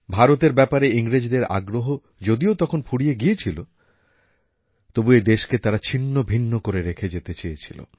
ভারতের ব্যাপারে ইংরেজদের আগ্রহ যদিও তখন ফুরিয়ে গিয়েছিল তবু এই দেশকে তারা ছিন্নভিন্ন করে রেখে যেতে চেয়েছিল